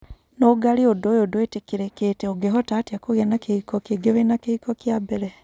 Nũngari ũndũ ũyo ndũitikĩrĩkĩte ũngehota atĩa kũgĩa na kĩhiko kĩngĩ wĩna kĩhiko kia mbere